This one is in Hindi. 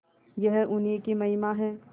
यह उन्हीं की महिमा है